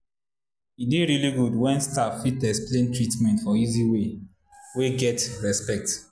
e dey really good when staff fit explain treatment for easy way wey get respect.